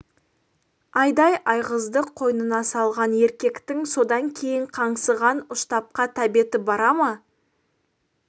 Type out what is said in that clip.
айдай айғызды қойнына салған еркектің содан кейін қаңсыған ұштапқа тәбеті бара ма